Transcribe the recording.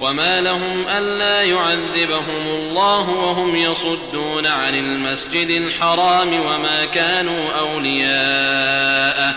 وَمَا لَهُمْ أَلَّا يُعَذِّبَهُمُ اللَّهُ وَهُمْ يَصُدُّونَ عَنِ الْمَسْجِدِ الْحَرَامِ وَمَا كَانُوا أَوْلِيَاءَهُ ۚ